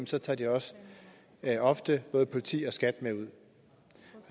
så tager de også ofte både politi og skat med ud